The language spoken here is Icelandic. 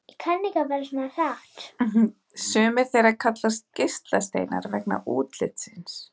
Sumir þeirra kallast geislasteinar vegna útlits síns.